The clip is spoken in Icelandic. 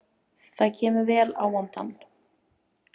Það kemur vel á vondan.